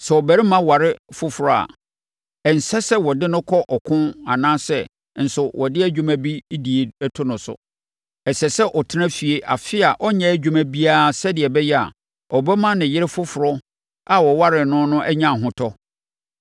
Sɛ ɔbarima aware foforɔ a, ɛnsɛ sɛ wɔde no kɔ ɔko anaasɛ nso wɔde dwuma bi die to no so. Ɛsɛ sɛ ɔtena fie afe a ɔnyɛ adwuma biara sɛdeɛ ɛbɛyɛ a, ɔbɛma ne yere foforɔ a waware no no anya ahotɔ.